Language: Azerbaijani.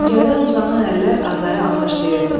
Pəncərədən uzanan əllər Azayı alqışlayırdı.